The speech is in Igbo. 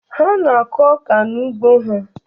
Ha na-akụ ọka n'ugbo ha.